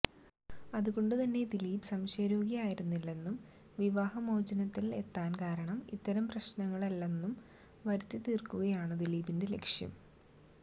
അതുകൊണ്ടു തന്നെ ദിലീപ് സംശയരോഗി ആയിരുന്നില്ലെന്നും വിവാഹമോചനത്തില് എത്താന് കാരണം ഇത്തരം പ്രശ്നങ്ങളല്ലെന്നും വരുത്തിത്തീര്ക്കുകയാണ് ദിലീപിന്റെ ലക്ഷ്യം